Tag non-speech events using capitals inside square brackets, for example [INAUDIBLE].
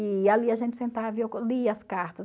E ali a gente sentava e eu [UNINTELLIGIBLE] lia as cartas.